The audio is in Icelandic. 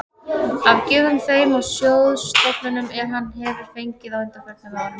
af gjöfum þeim og sjóðstofnunum, er hann hefir fengið á undanförnum árum.